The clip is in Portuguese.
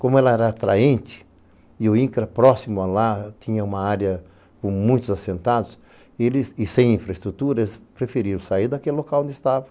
Como ela era atraente e o Incra, próximo a lá, tinha uma área com muitos assentados e sem infraestrutura, eles preferiram sair daquele local onde estavam.